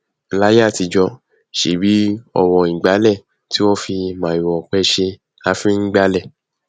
láíyé àtijọ ṣèbí ọwọ ìgbálẹ tí wọn fi màrìwò ọpẹ ṣe la fi ngbálẹ